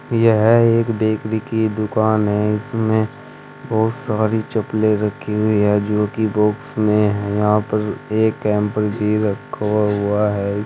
यह एक बेकरी की दुकान है इसमें बहुत सारी चपले रखी हुई हैं जो की बॉक्स में है यहां पे एक कैम्पर भी रखा हुआ है।